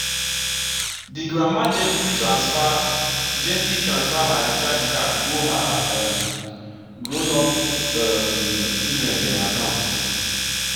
the grandma gently transfer gently transfer her recharge card go her um grown-up um children dem account.